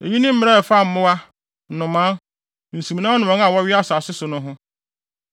“ ‘Eyi ne mmara a ɛfa mmoa, nnomaa, nsumnam ne wɔn a wɔwea asase so no ho.